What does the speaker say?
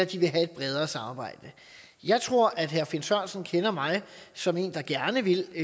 de vil have et bredere samarbejde jeg tror at herre finn sørensen kender mig som en der gerne vil